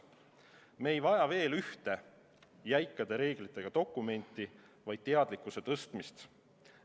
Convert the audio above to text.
Me ei vaja veel ühte jäikade reeglitega dokumenti, vaid teadlikkuse suurendamist.